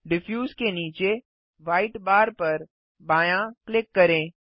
diffuse के नीचे white bar पर बायाँ क्लिक करें